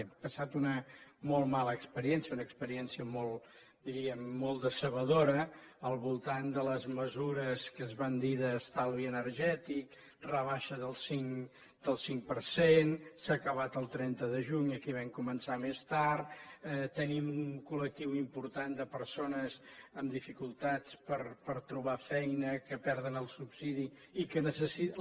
hem passat una molt mala experiència una experiència diríem molt decebedora al voltant de les mesures que es van dir d’estalvi energètic rebaixa del cinc per cent s’ha acabat el trenta de juny aquí vam començar més tard tenim un col·lectiu important de persones amb dificultats per trobar feina que perden el subsidi i que necessiten